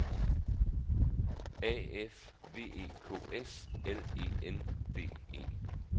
A F V E K S L E N D E